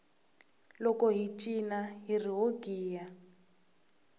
loko hi cina hiri ho giya